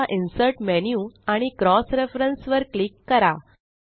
आता insert menu आणि cross reference वर क्लिक करा